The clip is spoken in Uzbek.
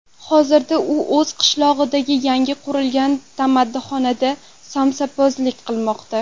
Hozirda u o‘z qishlog‘idagi yangi qurilgan tamaddixonada somsapazlik qilmoqda.